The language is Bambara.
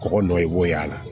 Kɔgɔ dɔ i b'o y'a la